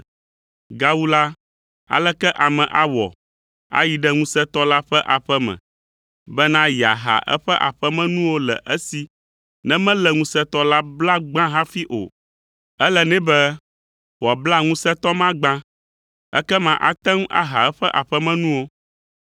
“Gawu la, aleke ame awɔ ayi ɖe ŋusẽtɔ la ƒe aƒe me, bena yeaha eƒe aƒemenuwo le esi ne melé ŋusẽtɔ la bla gbã hafi o? Ele nɛ be wòabla ŋusẽtɔ ma gbã, ekema ate ŋu aha eƒe aƒemenuwo.